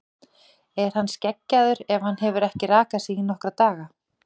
Er hann skeggjaður ef hann hefur ekki rakað sig í nokkra daga?